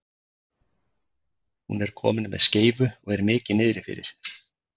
Hún er komin með skeifu og er mikið niðrifyrir.